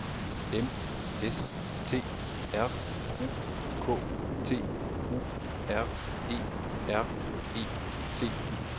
O M S T R U K T U R E R E T